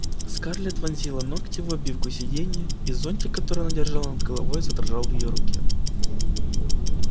скарлетт вонзила ногти в обивку сиденья и зонтик который она держала над головой задрожал в её руке